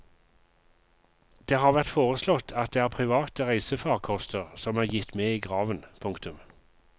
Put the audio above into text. Det har vært foreslått at det er private reisefarkoster som er gitt med i graven. punktum